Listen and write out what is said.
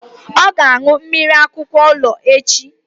Ọ ga-aṅụ mmiri akwụkwọ ilu echi!